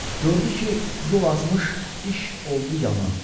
Gördü ki, yol azmış, iş oldu yaman.